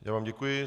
Já vám děkuji.